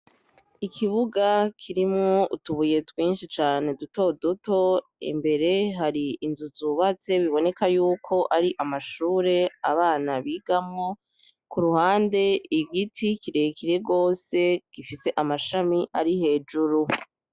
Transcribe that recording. Ikibuga kirimwo utubuye twinshi cane duto duto imbere hari inzu zubatse biboneka yuko ari amashure abana bigamwo, kuruhande igiti kirekire gose gifise amashami ari hejuru.